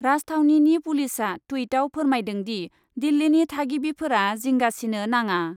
राजथावनिनि पुलिसआ टुइटआव फोरमायदों दि, दिल्लीनि थागिबिफोरा जिंगा सिनो नाङा ।